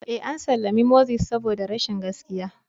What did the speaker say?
Ee, an sallami Moses saboda rashin gaskiya.